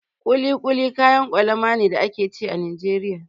Kuli kuli kayan kwalama ne da ake ci a Najeriya.